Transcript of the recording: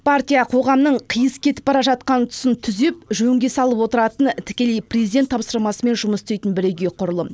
партия қоғамның қиыс кетіп бара жатқан тұсын түзеп жөнге салып отыратын тікелей президент тапсырмасымен жұмыс істейтін бірегей құрылым